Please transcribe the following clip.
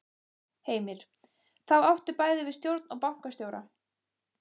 Heimir: Þá áttu bæði við stjórn og bankastjóra?